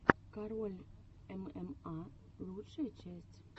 король мма лучшая часть